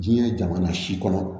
Diɲɛ jamana si kɔnɔ